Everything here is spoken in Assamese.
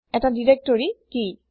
এটা ডাইৰেক্টৰী দিৰেক্তৰি কি